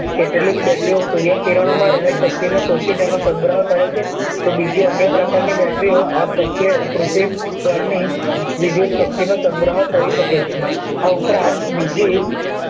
કેટલીક battery ઓ સૂર્ય કિરણ ઓ માં રહેલી શક્તિઓ ને અને સંગ્રહ કરે છે તો બીજી અન્ય પ્રકાર ની battery ઓ આ પૃથ્વી પર ની વિધુત શક્તિઓ નો સંગ્રહ કરી શકે છે આ ઉપરાંત બીજી એક